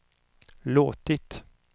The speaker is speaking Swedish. låtit